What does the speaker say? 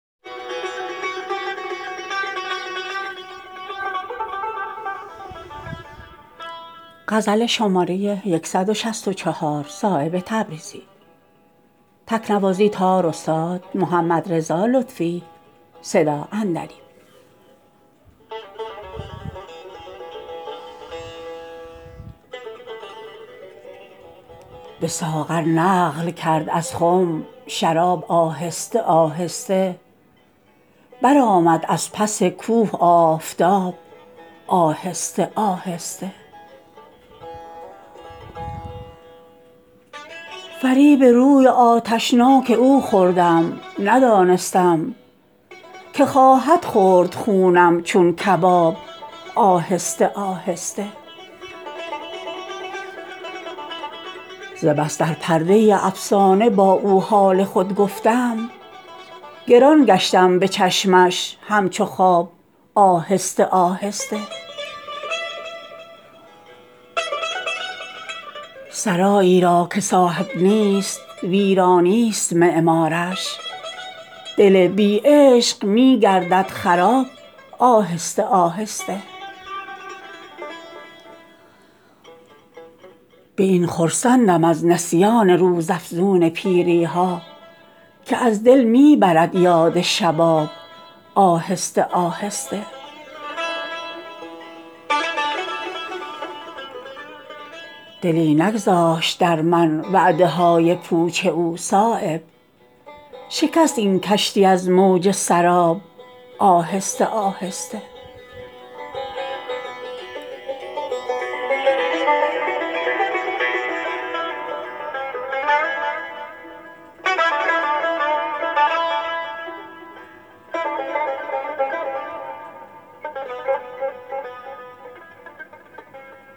به ساغر نقل کرد از خم شراب آهسته آهسته برآمد از پس کوه آفتاب آهسته آهسته فریب روی آتشناک او خوردم ندانستم که خواهد خورد خونم چون کباب آهسته آهسته ز بس در پرده افسانه با او حال خود گفتم گران گشتم به چشمش همچو خواب آهسته آهسته کباب نازک دل آتش هموار می خواهد برافکن از عذار خود نقاب آهسته آهسته مکن تعجیل تا از عشق رنگی برکند کارت که سازد سنگ را لعل آفتاب آهسته آهسته جدایی زهر خود را اندک اندک می کند ظاهر که گردد تلخ در مینا گلاب آهسته آهسته سرایی را که صاحب نیست ویرانی است معمارش دل بی عشق می گردد خراب آهسته آهسته به نور سینه بی کینه دشمن را حوالت کن که می ریزد کتان را ماهتاب آهسته آهسته مشو دلتنگ اگر یک چند اشکت بی اثر باشد که سازد خاک را گلزار آب آهسته آهسته به این خرسندم از نسیان روزافزون پیری ها که از دل می برد یاد شباب آهسته آهسته خط اوریش شد آخر که را می گشت در خاطر که گردد آیه رحمت عذاب آهسته آهسته دلی نگذاشت در من وعده های پوچ او صایب شکست این کشتی از موج سراب آهسته آهسته نبود از خضر کمتر در رسایی عمر من صایب گره شد رشته ام از پیچ و تاب آهسته آهسته